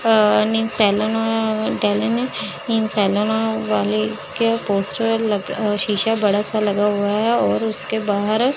अ नी सैलून टेलन इन सैलूनों वाली के पोस्टर लग अ शीशा बड़ा सा लगा हुआ है और उसके बाहर --